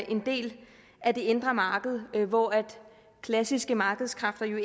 en del af det indre marked hvor klassiske markedskræfter jo